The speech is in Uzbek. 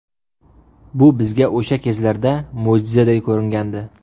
Bu bizga o‘sha kezlarda mo‘jizaday ko‘ringandi.